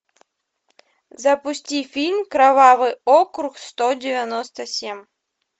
запусти фильм кровавый округ сто девяносто семь